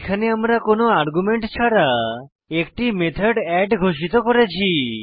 এখানে আমরা কোনো আর্গুমেন্ট ছাড়া একটি মেথড এড ঘোষিত করেছি